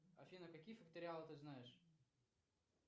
афина какие факториалы ты знаешь